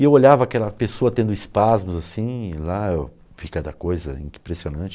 E eu olhava aquela pessoa tendo espasmos, assim, e lá eu vi cada coisa, impressionante.